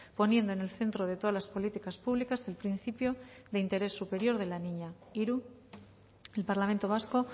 poniendo en el centro de todas las políticas públicas el principio del interés superior de la niña hiru el parlamento vasco